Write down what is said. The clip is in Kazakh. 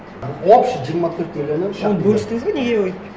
общий жиырма төрт миллионнан оны бөлістіңіз бе неге өйтіп